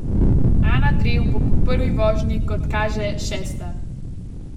Ana Drev bo po prvi vožnji, kot kaže, šesta.